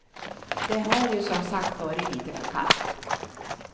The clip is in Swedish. Det har ju som sagt varit lite för kallt.